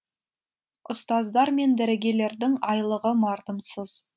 ұстаздар мен дәрігерлердің айлығы мардымсыз